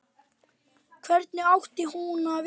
Hvernig átti hún að vita-?